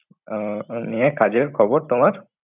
আহ নিয়ে কাজের খবর তোমার।